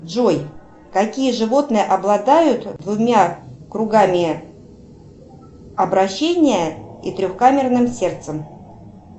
джой какие животные обладают двумя кругами обращения и трехкамерным сердцем